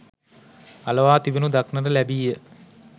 අලවා තිබෙනු දක්නට ලැබීය